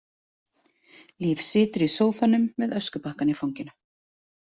Líf situr í sófanum með öskubakkann í fanginu.